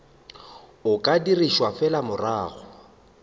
o ka dirišwa fela morago